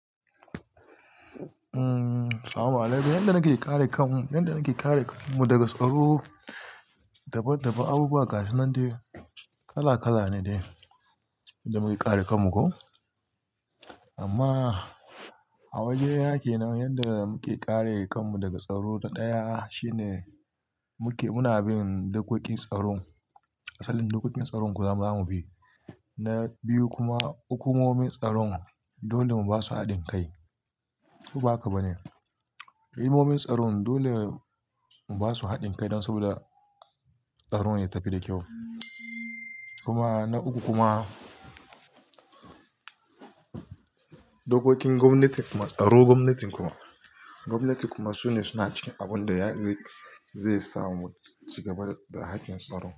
Amaalaikum, yadda nake kare kanmu daga tsaro, daban daban abubuwa gasu nan dai kala kala ne da muke kare kanmu ko. Amma a wajena kenan yadda muke kare kanmu daga tsaro. Daya shine muke muna bin dokokin tsaro. Asalin dokokin tsaro zamu bi. Biyu kuma hukumomin tsaron dole mu ba su haɗin kai. Koba haka ba ne? Hukumomin tsaron dole mu ba su haɗin kai don saboda tsaron ya tafi da kyau. Kuma na uku kuma, dokokin gwamnati kuma tsaro gwamnatin kuma, gwamnatin kuma su ne suna cikin abin da zai sa mu cigaba da haƙƙin tsaro.